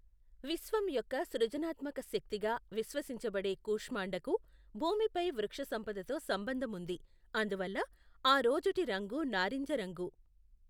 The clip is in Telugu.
విశ్వం యొక్క సృజనాత్మక శక్తిగా విశ్వసించబడే కుష్మాండకు భూమిపై వృక్షసంపదతో సంబంధం ఉంది, అందువల్ల, ఆ రోజుటి రంగు నారింజ రంగు.